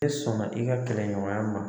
E sɔn na i ka kɛlɛ ɲɔgɔnya ma.